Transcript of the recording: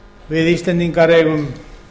við íslendingar eigum